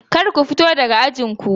Kar ku fito daga ajin ku!